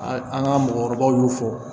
An ka mɔgɔkɔrɔbaw y'o fɔ